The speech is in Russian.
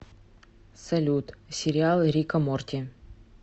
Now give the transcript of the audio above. салют сериал рика морти